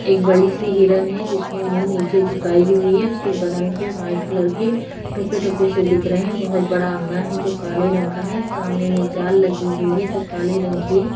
एक बड़ी सी हिरन है जिसने मुँह नीचे झुकाई हुई है उसके बदन पे वाइट कलर के टोपे-टोपे से दिख रहे है। बोहोत बड़ा अंगना है जो काले रंग का है सामने में जाल लगी हुई है जो काले रंग की है।